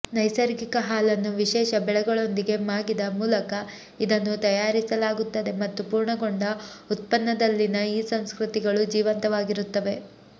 ನೈಸರ್ಗಿಕ ಹಾಲನ್ನು ವಿಶೇಷ ಬೆಳೆಗಳೊಂದಿಗೆ ಮಾಗಿದ ಮೂಲಕ ಇದನ್ನು ತಯಾರಿಸಲಾಗುತ್ತದೆ ಮತ್ತು ಪೂರ್ಣಗೊಂಡ ಉತ್ಪನ್ನದಲ್ಲಿನ ಈ ಸಂಸ್ಕೃತಿಗಳು ಜೀವಂತವಾಗಿರುತ್ತವೆ